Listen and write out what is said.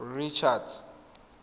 richards